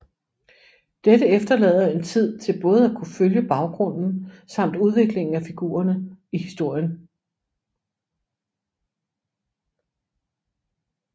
Dette efterlader en tid til både at kunne følge baggrunden samt udviklingen af figurene og historien